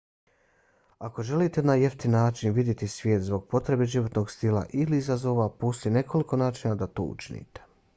ako želite na jeftin način vidjeti svijet zbog potrebe životnog stila ili izazova postoji nekoliko načina da to učinite